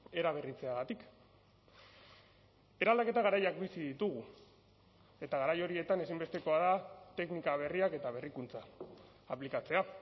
eraberritzeagatik eraldaketa garaiak bizi ditugu eta garai horietan ezinbestekoa da teknika berriak eta berrikuntza aplikatzea